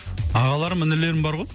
ағаларым інілерім бар ғой